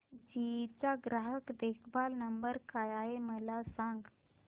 GE चा ग्राहक देखभाल नंबर काय आहे मला सांग